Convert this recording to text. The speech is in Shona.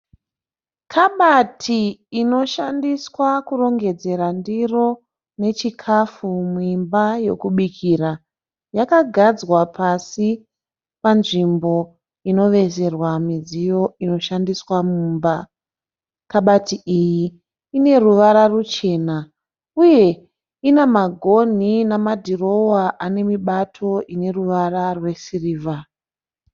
Kabati inoshandiswa kurongedzera ndiro nechikafu muimba yokubikira. Yakagadzwa pasi panzvimbo inovezerwa midziyo inoshandiswa mumba. Kabati iyi ine ruvara ruchena uye ina magonhi namadirowa ane mibato ine ruvara rwesirivha.